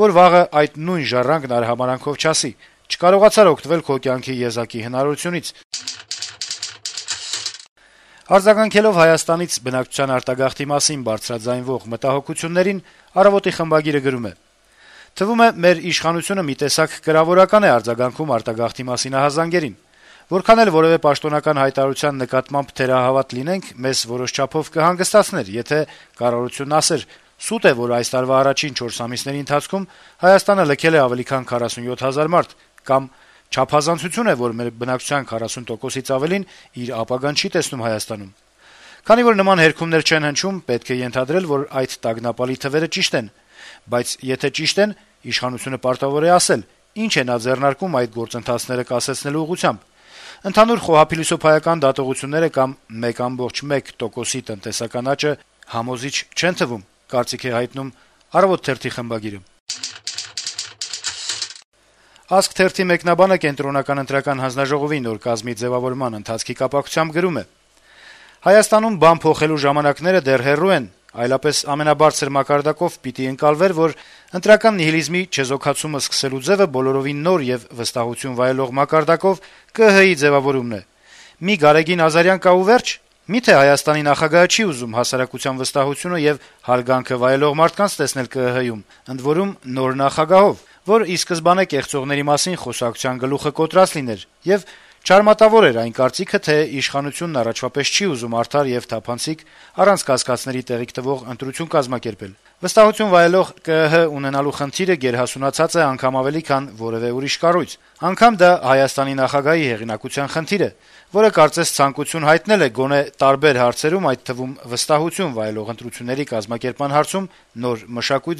Որ վաղը այդ նույն ժառանգն արհամարհանքով չասի՝ չկարողացար օգտվել քո կյանքի եզակի հնարավորությունից»: Արձագանքելով Հայաստանից բնակչության արտագաղթի մասին բարձրաձայնվող մտահոգություններին` «Առավոտ»-ի խմբագիրը գրում է. - «Թվում է` մեր իշխանությունը մի տեսակ կրավորական է արձագանքում արտագաղթի մասին ահազանգերին: Որքան էլ որեւէ պաշտոնական հայտարարության նկատմամբ թերահավատ լինենք, մեզ որոշ չափով կհանգստացներ, եթե կառավարությունը ասեր` «սուտ է, որ այս տարվա առաջին 4 ամիսների ընթացքում Հայաստանը լքել է ավելի քան 47 հազար մարդ»: Կամ` «չափազանցություն է, որ մեր բնակչության 40 տոկոսից ավելին իր ապագան չի տեսնում Հայաստանում»: Քանի որ նման հերքումներ չեն հնչում, պետք է ենթադրել, որ այդ տագնապալի թվերը ճիշտ են: Բայց եթե ճիշտն են, իշխանությունը պարտավոր է ասել` ինչ է նա ձեռնարկում այդ գործընթացները կասեցնելու ուղղությամբ: Ընդհանուր խոհափիլիսոփայական դատողությունները կամ 1.1 տոկոս տնտեսական աճը համոզիչ չեն թվում»: «Ազգ» թերթի մեկնաբանը Կենտրոնական ընտրական հանձնաժողովի նոր կազմի ձեւավորման ընթացքի կապակցությամբ գրում է. -« Հայաստանում բան փոխելու ժամանակները դեռ հեռու են, այլապես ամենաբարձր մակարդակով պիտի ընկալվեր, որ ընտրական նիհիլիզմի չեզոքացումը սկսելու ձեւը բոլորովին նոր եւ վստահություն վայելող մարդկանցով ԿԸՀ-ի ձեւավորումն է: Մի Գարեգին Ազարյան կա ու վե՞րջ: Մի՞թե Հայաստանի նախագահը չի ուզում հասարակության վստահությունը եւ հարգանքը վայելող մարդկանց տեսնել ԿԸՀ-ում, ընդ որում` նոր նախագահով, որ ի սկզբանե կեղծողների մասին խոսակցության գլուխը կոտրած լիներ եւ չարմատավորեր այն կարծիքը, թե իշխանությունն առաջվա պես չի ուզում արդար եւ թափանցիկ, առանց կասկածների տեղիք տվող ընտրություն կազմակերպել… Վստահություն վայելող ԿԸՀ ունենալու խնդիրը գերհասունացած է, անգամ ավելի, քան որեւէ ուրիշ կառույց, անգամ դա Հայաստանի նախագահի հեղինակության խնդիր է, որը կարծես ցանկություն հայտնել է գոնե` տարբեր հարցերում, այդ թվում` վստահություն վայելող ընտրությունների կազմակերպման հարցում, նոր մշակույթ